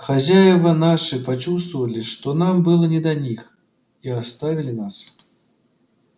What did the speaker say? хозяева наши почувствовали что нам было не до них и оставили нас